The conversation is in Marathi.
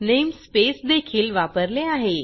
नेमस्पेस देखील वापरले आहे